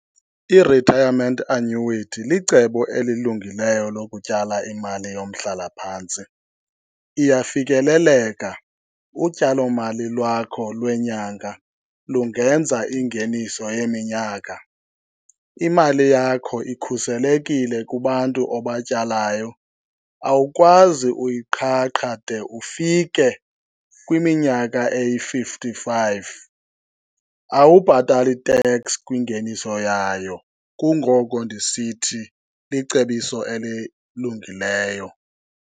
I-retirement annuity licebo elilungileyo lokutyala imali yomhlalaphantsi. Iyafikeleleka, utyalomali lwakho lwenyanga lungenza ingeniso yeminyaka. Imali yakho ikhuselekile kubantu obatyalayo, awukwazi uyiqhaqha de ufike kwiminyaka eyi-fifty-five. Awubhatali teks kwingeniso yayo, kungoko ndisithi licebiso elilungileyo.